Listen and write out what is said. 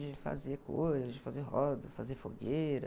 De fazer coisas, de fazer roda, fazer fogueira.